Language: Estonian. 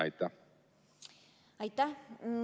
Aitäh!